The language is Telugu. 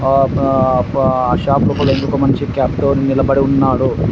ఆ ప ప అ షాప్ లో ఒకడు ఒక మనిషి క్యాప్ తో నిలబడి ఉన్నాడు.